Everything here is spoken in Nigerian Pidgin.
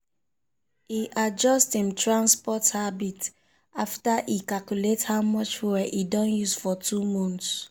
e adjust im transport habits after e calculate how much fuel e don use for two months.